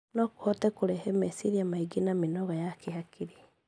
No kũhote kũrehe meciria maingĩ na mĩnoga ya kĩhakiri.